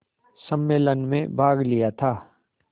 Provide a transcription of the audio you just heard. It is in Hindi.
सम्मेलन में भाग लिया था